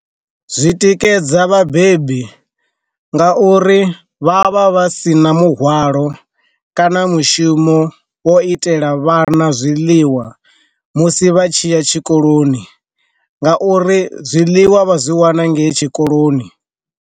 Zwi tikedza vhabebi nga uri vha vha vhasina muhwalo kana mushumo wo itela vhana zwiḽiwa musi vha tshiya tshikoloni, nga uri zwiḽiwa vha zwi wana ngei tshikoloni.